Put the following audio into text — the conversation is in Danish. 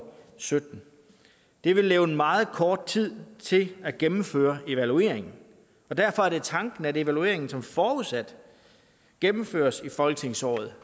sytten det vil levne meget kort tid til at gennemføre evalueringen og derfor er det tanken at evalueringen som forudsat gennemføres i folketingsåret